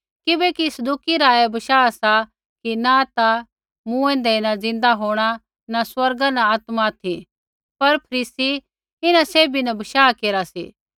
किबैकि सदूकी रा ऐ बशाह सा कि न ता मूँऐंदै न ज़िन्दा होंणा न स्वर्गदूत न आत्मा ऑथि पर फरीसी इन्हां सैभी न बशाह केरा सी